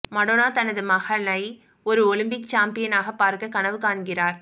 Madonna தனது மகளை ஒரு ஒலிம்பிக் சாம்பியனாக பார்க்க கனவு காண்கிறார்